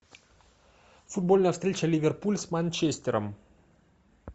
футбольная встреча ливерпуль с манчестером